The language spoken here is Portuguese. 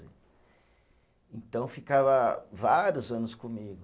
Então ficava vários anos comigo.